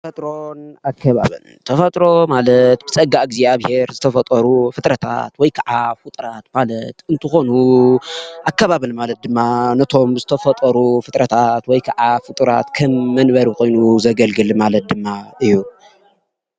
ተፈጥሮን ኣከባብን ተፈጥሮ ማለት ብፀጋ ብእግዚኣብሄር ዝተፈጠሩ ፍጥረታት ወይ ከዓ ፉጡራት ማለት እንትኮን ኣከባቢ ማለት ድማ ነቶም ዝተፈጠሩ ፍጥረታት ወይ ከዓ ፍጡራት ከም መንበሪ ኮይኑ ዘገልግል ማለት ድማ እዩ።